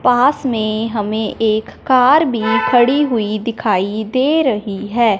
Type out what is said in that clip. पास में हमें एक कार भी खड़ी हुई दिखाई दे रही है।